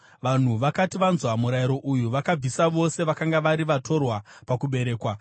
Vanhu vakati vanzwa murayiro uyu, vakabvisa vose vakanga vari vatorwa pakuberekwa.